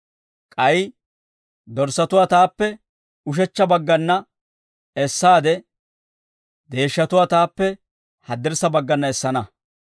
K'ay dorssatuwaa taappe ushechcha baggana essaade, deeshshatuwaa taappe haddirssa baggana essana.